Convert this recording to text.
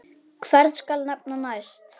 Hvern skal nefna næst?